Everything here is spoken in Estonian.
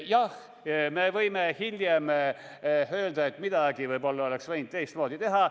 Jah, me võime hiljem öelda, et midagi oleks võib-olla võinud teistmoodi teha.